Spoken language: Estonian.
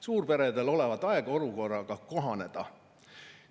Suurperedel olevat aega olukorraga kohaneda.